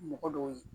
Mɔgɔ dɔw ye